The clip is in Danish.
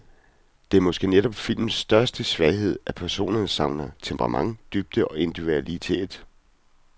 Det er måske netop filmens største svaghed, at personerne savner temperament, dybde og individualitet.